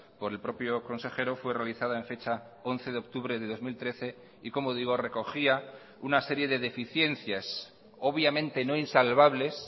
por el propio consejero fue realizada en fecha once de octubre de dos mil trece y como digo recogía una serie de deficiencias obviamente no insalvables